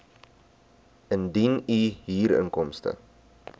indien u huurinkomste